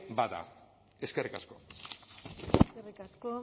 bada eskerrik asko eskerrik asko